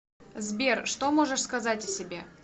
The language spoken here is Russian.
сбер что можешь сказать о себе